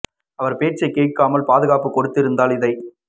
அவர் பேச்சைக் கேட்காமல் பாது காப்பு கொடுத்திருந்தால் இதைத்